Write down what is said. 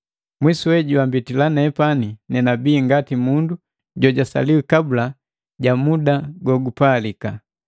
Mwisuwe, jwambitila nepani nenabii ngati mundu jojasaliwi kabula ja muda gogupalika.